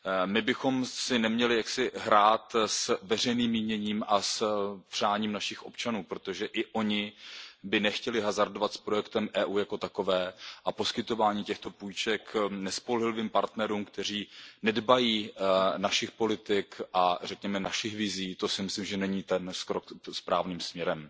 My bychom si neměli hrát s veřejným míněním a přáním našich občanů, protože ani oni by nechtěli hazardovat s projektem EU jako takovým a poskytování těchto půjček nespolehlivým partnerům, kteří nedbají našich politik a řekněme našich vizí, to si myslím, že není ten krok správným směrem.